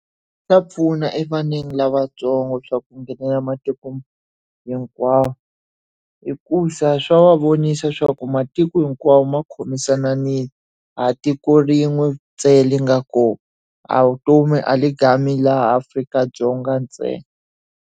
Swa pfuna evaneni lavatsongo swa ku nghenela matiko hinkwawo hikuva swa va vonisa swa ku matiko hinkwawo ma khomisananile. A hi tiko rin'we ntsena ri nga kona. A vutomi laha Afrika-Dzonga ntsena.